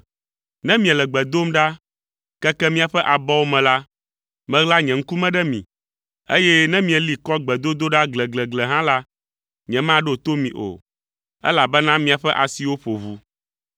Ne miele gbe dom ɖa, keke miaƒe abɔwo me la, maɣla nye ŋkume ɖe mi, eye ne mieli kɔ gbedodoɖa gleglegle hã la, nyemaɖo to mi o, elabena miaƒe asiwo ƒo ʋu.